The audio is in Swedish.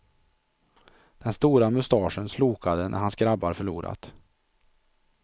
Den stora mustaschen slokade när hans grabbar förlorat.